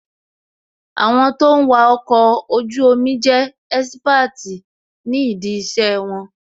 Àwọn tó ń wà ọkọ̀ ojú omi jẹ́ ẹ́sípáàtì ní dí ìṣe wọn